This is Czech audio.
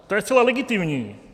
To je zcela legitimní.